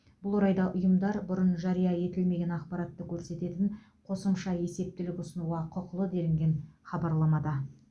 бұл орайда ұйымдар бұрын жария етілмеген ақпаратты көрсететін қосымша есептілік ұсынуға құқылы делінген хабарламада